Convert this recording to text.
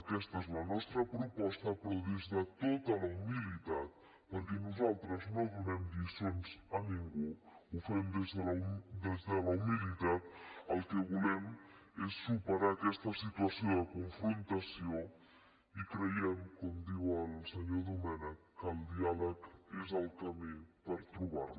aquesta és la nostra proposta però des de tota la humilitat perquè nosaltres no donem lliçons a ningú ho fem des de la humilitat el que volem és superar aquesta situació de confrontació i creiem com diu el senyor domènech que el diàleg és el camí per trobar la